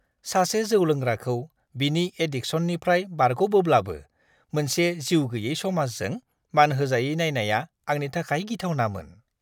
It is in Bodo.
सासे जौ लोंग्राखौ बिनि एड्डिकसननिफ्राय बारग'बोब्लाबो मोनसे जिउ-गैयै समाजजों मानहोजायै नायनाया आंनि थाखाय गिथावनामोन!